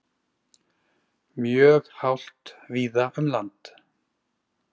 Mjög hált víða um land